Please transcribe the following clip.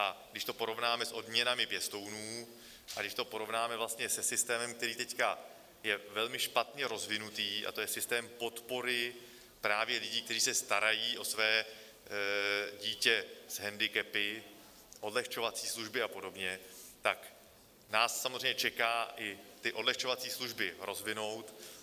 A když to porovnáme s odměnami pěstounů a když to porovnáme vlastně se systémem, který teď je velmi špatně rozvinutý, a to je systém podpory právě lidí, kteří se starají o své dítě s hendikepy, odlehčovací služby a podobně, tak nás samozřejmě čeká i ty odlehčovací služby rozvinout.